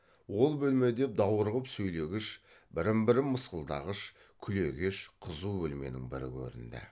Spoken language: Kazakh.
ол бөлме де даурығып сөйлегіш бірін бірі мысқылдағыш күлегеш қызу бөлменің бірі көрінді